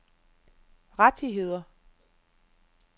rettigheder